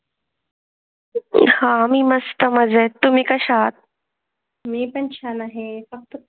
हा मी मस्त मजा आहे तुम्ही कशा आहात? मी पण छान आहे फक्त.